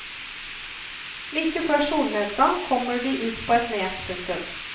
Like før solnedgang kommer de ut på et nes. punktum